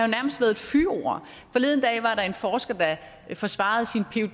nærmest været et fyord forleden var der en forsker der forsvarede sin